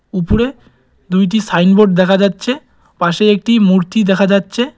উপরে দুইটি sign board দেখা যাচ্ছে পাশে একটি মূর্তি দেখা যাচ্ছে।